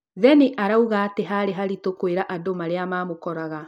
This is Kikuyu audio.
Vennie arauga atĩ harĩ haritũ kwĩra andũ marĩa mamũkoraga